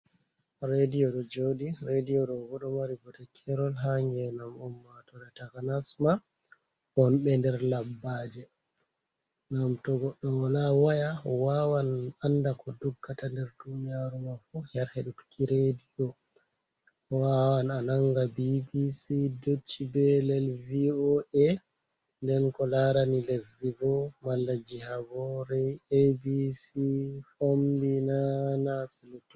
Reediyo ɗo jooɗi. Reediyo re boo ɗo mari bote keerol haa ngeendam ummaatore takanas maa wonɓe nder labbaaje, ngam to goɗɗo wala waya waawan annda ko doggata nder duuniyaaru maa fuu her heɗutuki reediyo. Waawan a nannga BBC, Dutche Belɗe, VOA, nden ko laarani lesdi boo, malaji habore, ABC, Fombina, NASS e luttuɗum